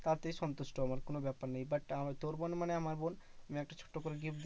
তাতেই সন্তুষ্ট আমার। কোনো ব্যাপার নেই but আহ তোর বোন মানে আমার বোন আমি একটা ছোট্ট করে gift